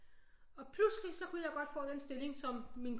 Og pludselig så kunne jeg godt få den stilling som min